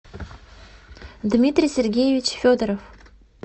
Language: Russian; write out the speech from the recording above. дмитрий сергеевич федоров